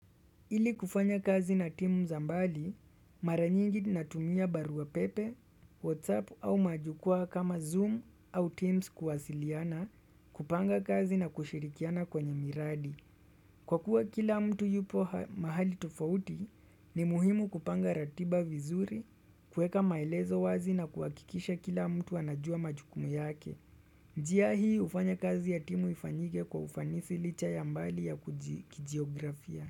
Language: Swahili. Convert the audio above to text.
Ili kufanya kazi na timu za mbali, mara nyingi natumia barua pepe, whatsapp au majukwaa kama zoom au teams kuwasiliana kupanga kazi na kushirikiana kwenye miradi. Kwa kuwa kila mtu yupo ha mahali tofauti, ni muhimu kupanga ratiba vizuri, kueka maelezo wazi na kuhakikisha kila mtu anajua majukumu yake. Njia hii hufanya kazi ya timu ifanyike kwa ufanisi licha ya mbali ya kijiografia.